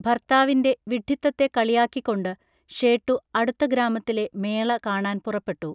ഭർത്താവിൻറെ വിഡ്ഢിത്തത്തെ കളിയാക്കിക്കൊണ്ട് ഷേട്ടു അടുത്ത ഗ്രാമത്തിലെ മേള കാണാൻപുറപ്പെട്ടു